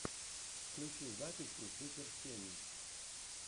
включи записи супер сени